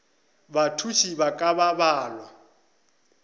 bathuši ba ka ba balwa